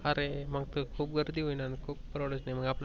अरे मग तर खूप गर्दी होईल. परवडायच नाही मग.